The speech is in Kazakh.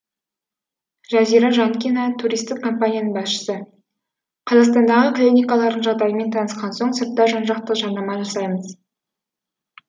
жазира жанкина туристік компанияның басшысы қазақстандағы клиникалардың жағдайымен танысқан соң сыртта жан жақты жарнама жасаймыз